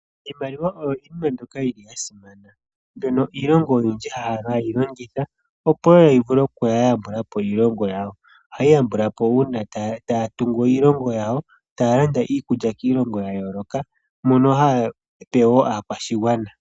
Iimaliwa oyo iinima mbyoka yi li ya simana, mbyono iilongo oyindji ha yi longitha opo wo yi vule oku kala ya yambula po iilongo ya wo. Oha yi yambulwa po uuna ta ya tungu iilongo ya wo ta ya landa iikulya kiilongo ya yooloka, mono ha ya pe wo aakwashigwana.